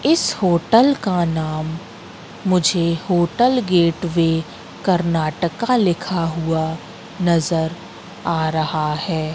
इस होटल का नाम मुझे होटल गेटवे कर्नाटका लिखा हुआ नजर आ रहा है।